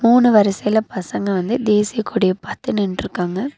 மூணு வரிசையில பசங்க வந்து தேசிய கொடிய பாத்து நின்ட்ருக்காங்க.